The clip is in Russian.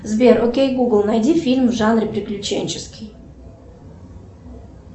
сбер окей гугл найди фильм в жанре приключенческий